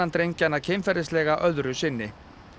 drengjanna kynferðislega öðru sinni